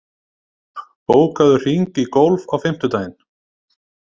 Ösp, bókaðu hring í golf á fimmtudaginn.